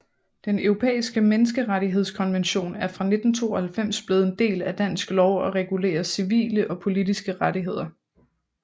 Den Europæiske Menneskerettighedskonvention er fra 1992 blevet en del af dansk lov og regulerer civile og politiske rettigheder